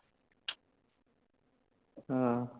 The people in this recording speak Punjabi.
ਹਾਂ